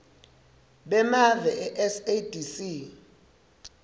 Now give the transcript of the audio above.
bemave e sadc